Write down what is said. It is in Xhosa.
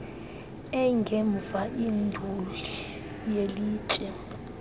engemva induli yelitye